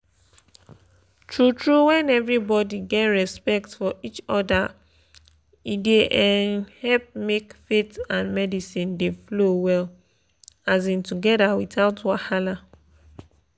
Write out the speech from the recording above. true true when everybody get respect for each other e da um help make faith and medicine dey flow well um together without wahala.